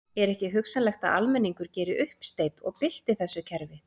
Er ekki hugsanlegt að almenningur geri uppsteyt og bylti þessu kerfi?